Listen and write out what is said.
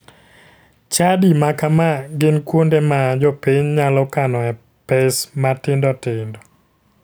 Chadi ma kama gin kuonde ma jopiny nyalo kanoe pes matindotindo.